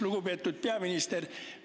Lugupeetud peaminister!